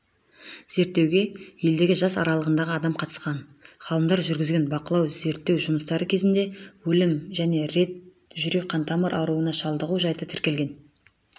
зерттеуге елдегі жас аралығындағы адам қатысқан ғалымдар жүргізген бақылау-зерттеу жұмыстары кезінде өлім және рет жүрек-қантамыр ауруына шалдығу жайты тіркелген